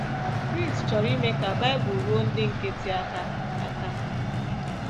Chris chọrọ ime ka Bible ruo ndị nkịtị aka aka